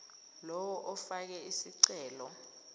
lowo ofake isicelo